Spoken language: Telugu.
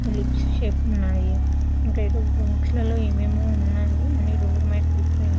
లిప్స్ షేపులో ఉన్నాయి. ఇంకా ఏదో బాక్స్ లలో ఏమో ఏమో ఉన్నాయి అన్ని డోర్ మేట్స్ డిఫరెంట్ --